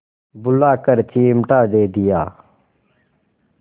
बुलाकर चिमटा दे दिया